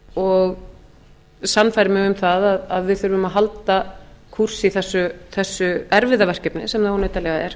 sannfærir mig um það að við þurfum að halda kúrs í þessu erfiða verkefni sem það óneitanlega er